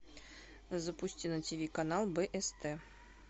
запусти на тв канал бст